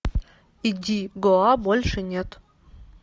иди гоа больше нет